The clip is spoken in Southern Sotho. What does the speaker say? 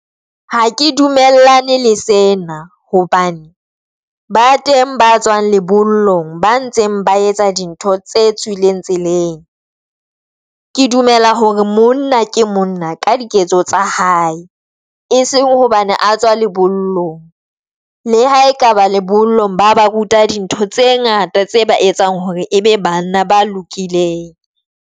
Ha ke dumellane le sena hobane ba teng ba tswang lebollong ba ntseng ba etsa dintho tse tswileng tseleng.Ke dumela hore monna ke monna ka diketso tsa hae e seng hobane a tswa lebollong. Le ha ekaba lebollong ba ba ruta dintho tse ngata tse ba etsang hore ebe banna ba lokileng.